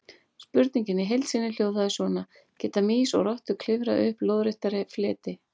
Spurningin í heild sinni hljóðaði svona: Geta mýs og rottur klifrað upp lóðrétta fleti?